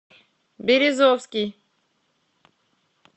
березовский